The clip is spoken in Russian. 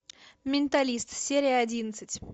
менталист серия одиннадцать